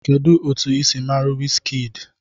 Kedu otu ị si mara Wizkind?